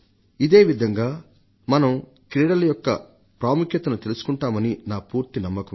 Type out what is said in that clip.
ఇదే విధంగా మనం క్రీడల యొక్క ప్రాముఖ్యతను తెలుసుకుంటామని నా పూర్తి నమ్మకం